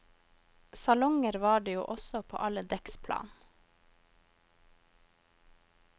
Salonger var det jo også på alle dekksplan.